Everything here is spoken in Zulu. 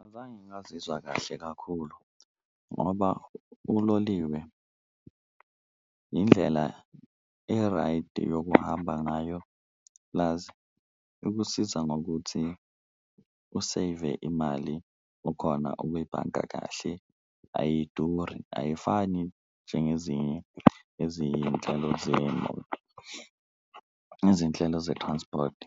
Azange ngazizwa kahle kakhulu ngoba uloliwe indlela e-right yokuhamba ngayo plus ikusiza ngokuthi u-save-e imali, ukhona ukuyibhanga kahle ayiduri ayifani njengezinye ezinhlelo zeyimoto, izinhlelo ze-transport.